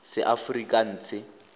seaforikanse